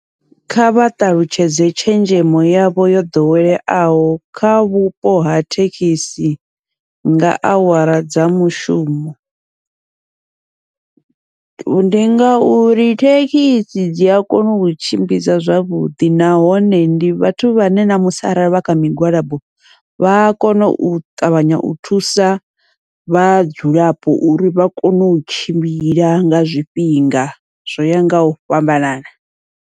Kha vha ṱalutshedze tshenzhemo yavho yo ḓoweleaho kha vhupo ha thekhisi, nga awara dza mushumo, ndi ngauri thekhisi dzi a kona u tshimbidza zwavhuḓi nahone ndi vhathu vhane namusi arali vha kha migwalabo, vha kono u ṱavhanya u thusa vhadzulapo uri vha kone u tshimbila nga zwifhinga zwo yaho ngau fhambanana.